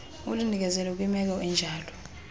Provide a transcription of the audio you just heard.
ulinikezele kwimeko enjalo